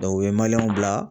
u ye bila